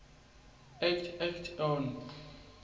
act act no